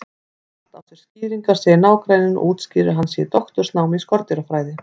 Allt á sér skýringar, segir nágranninn og útskýrir að hann sé í doktorsnámi í skordýrafræði.